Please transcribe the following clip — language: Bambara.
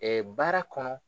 Ɛɛ baara kɔnɔ